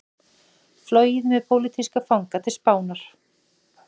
Flogið með pólitíska fanga til Spánar